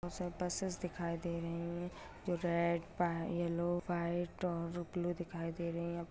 उस side buses दिखाई दे रही हैं जो रेड वा येलो व्हाइट और ब्लू दिखाई दे रही हैं।